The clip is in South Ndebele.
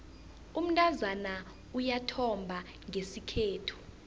umntazana uyathomba ngesikhethu